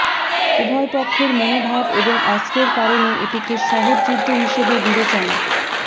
উভয় পক্ষের মনোভাব এবং অস্ত্রের কারণে এটিকে সহজ যুদ্ধ হিসেবে বিবেচনা